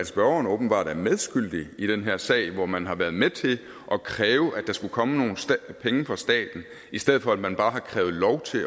spørgeren er åbenbart medskyldig i den her sag hvor man har været med til at kræve at der skulle komme nogle penge fra staten i stedet for at man bare krævet